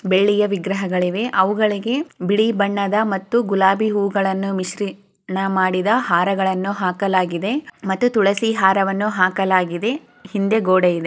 ಬೆಳ್ಳಿಯ ವಿಗ್ರಹಗಳಿವೆ ಅವುಗಳಿಗೇ ಬಿಳಿ ಬಣ್ಣದ ಮತ್ತು ಗುಲಾಬೀ ಹೂಗಳನ್ನು ಮಿಶ್ರಣ ಮಾಡಿದ ಹಾರಗಳನು ಹಾಕ್ಲಗಿದೆ ಮತ್ತೆ ತುಳಸಿ ಹಾರವನು ಹಾಕ್ಲಗಿದೆ. ಹಿಂದೆ ಗೂಡೆ ಇದೆ.